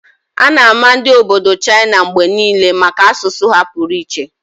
A ga-ama ndi obodo China mgbe niile maka asụsụ ha pụrụ iche.